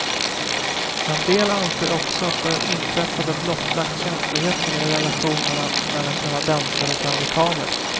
En del anser också att det inträffade blottlagt känsligheten i relationerna mellan kanadensare och amerikaner.